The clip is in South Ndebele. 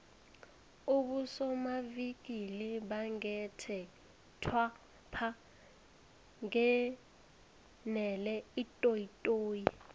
abosomavikili bangekhethwapha bangenele itoyitoyi